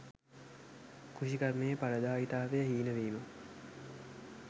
කෘෂිකර්මයේ පලදායීතාවය හීන වීම